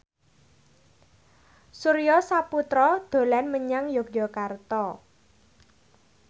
Surya Saputra dolan menyang Yogyakarta